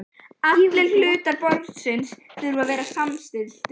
Allir hlutar borsins þurfa að vera samstilltir.